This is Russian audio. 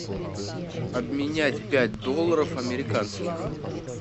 обменять пять долларов американских